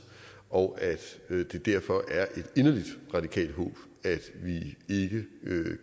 og at det derfor er et inderligt radikalt håb at vi ikke